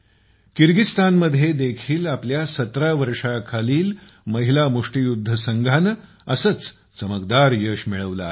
किर्गीझीस्तान मध्ये देखील आपल्या सतरा वर्षांखालील महिला मुष्टियुध्द संघाने असेच चमकदार यश मिळवले आहे